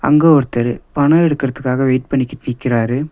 இங்கெ ஒருத்தரு பணொ எடுக்குறதுக்காக வெயிட் பண்ணிக்கிட்டு நிக்கிறாரு.